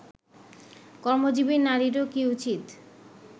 কর্মজীবী নারীরও কি উচিত